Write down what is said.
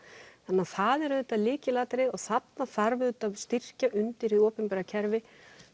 þannig það er lykilatriðið og þarna þarf að styrkja undir hið opinbera kerfi